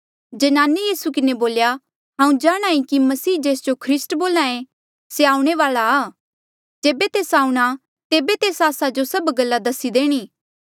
ज्नाने यीसू किन्हें बोल्या हांऊँ जाणहां ईं कि मसीह जेस्जो जे ख्रीस्ट बोल्हा ऐें से आऊणें वाल्आ आ जेबे तेस आऊंणा तेबे तेस आस्सा जो सभ गल्ला दसी देणी